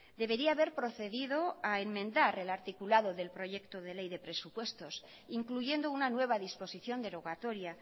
debería haber procedido a enmendar el articulado del proyecto de ley de presupuestos incluyendo una nueva disposición derogatoria